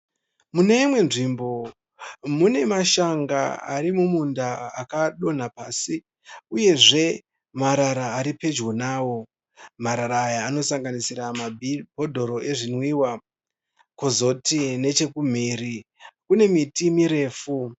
Mune imwe nzvimbo mune mashaga ari mumunda akadonha pasi uyezve marara ari pedyo nawo. Marara aya anosanganisira mabhodoro ezvinwiwa kozoti nechokumhiri kune miti mirefu.